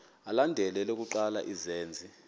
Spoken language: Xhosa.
alandela elokuqala izenzi